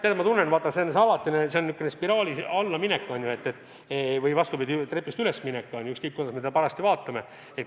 Tead, ma tunnen, see on alatine säärane spiraalis allaminek või, vastupidi, trepist ülesminek – oleneb, kuidas me seda parajasti vaatame.